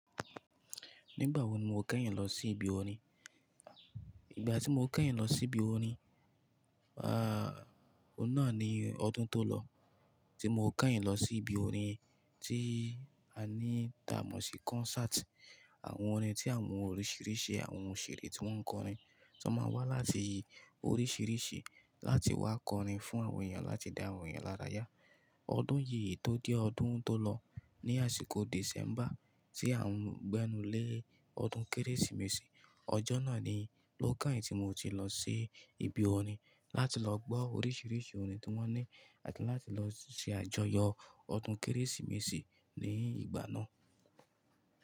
Nígbà wo ni mo keyìn lọ sí ibi orin? Ìgbà tí mo keyìn lọ sí ibi orin, ah o náà ni ọdún tó lọ tí mo keyìn lọ sí ibi orin ti a ní tà mọ̀ sí concert. Àwọn orin tí àwọn oríṣíríṣì, àwọn òṣèré tí wọ́n ń kọrin, tó máa wá láti oríṣíriṣì láti wá kọrin fún àwọn èyàn láti dá àwọn èyàn lára yá. Ọdún yí tó dé ọdún tó lọ ní àsìkò December tí à ń gbẹ́nu lé ọdún Kérésìmesì. Ọjọ́ náà ni ló keyin tí mo ti lọ sí ibi orin láti lọ gbọ́ oríṣìríṣí orin tí wọ́n ní àti láti lọ ṣe àjọyọ̀ ọdún Kérésìmesì ní ìgbà náà.